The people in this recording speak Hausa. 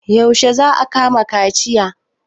Yaushe za a maka kaciya?